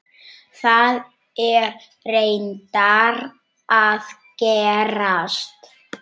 Það er reyndar að gerast.